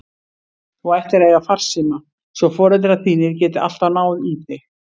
Þú ættir að eiga farsíma svo foreldrar þínir geti alltaf náð í þig.